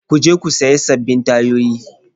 Ku je ku sayi sabbin tayoyi.